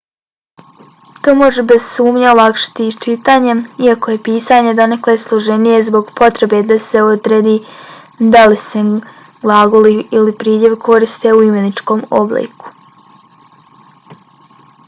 to može bez sumnje olakšati i čitanje iako je pisanje donekle složenije zbog potrebe da se odredi da li se glagol ili pridjev koriste u imeničnom obliku